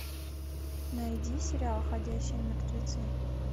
найди сериал ходячие мертвецы